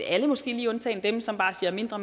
alle måske lige undtagen dem som bare siger mindre